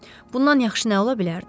Bundan yaxşı nə ola bilərdi?